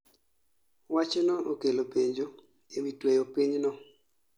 Wachno okelo penjo e wi tweyo piny no